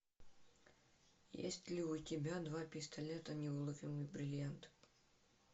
есть ли у тебя два пистолета неуловимый бриллиант